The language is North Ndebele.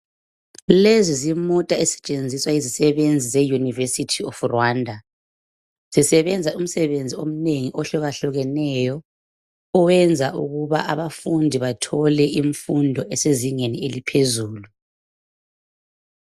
Lezi zimota ezisetshenziswa yizisebenzi zeyunivesithi of Rwanda zisebenza umsebenzi omnengi ohlukahlukeneyo oyenza ukuba abafundi bathole imfundo esezingeni eliphezulu